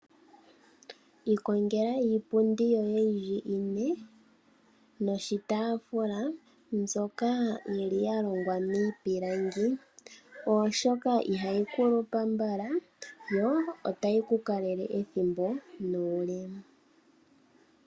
Ikongela iipundi yoye yi li ine noshitaafula, mbyoka ya longwa miipilangi, oshoka ihayi kulupa mbala yo otayi ku kalele ethimbo nuule.